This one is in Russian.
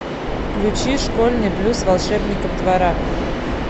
включи школьный блюз волшебников двора